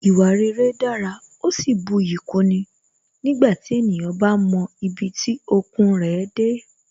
Ìwà rere dára, ó sì buyì kúni nígbàtí ènìyàn bá mọ ibi tí okun rẹ̀ dé